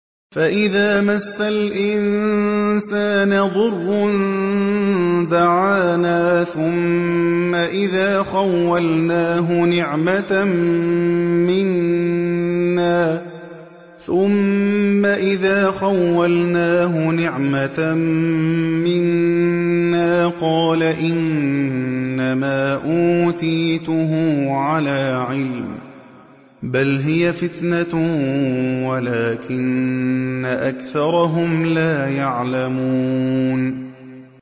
فَإِذَا مَسَّ الْإِنسَانَ ضُرٌّ دَعَانَا ثُمَّ إِذَا خَوَّلْنَاهُ نِعْمَةً مِّنَّا قَالَ إِنَّمَا أُوتِيتُهُ عَلَىٰ عِلْمٍ ۚ بَلْ هِيَ فِتْنَةٌ وَلَٰكِنَّ أَكْثَرَهُمْ لَا يَعْلَمُونَ